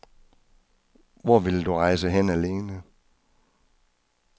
Hvor ville du rejse hen alene?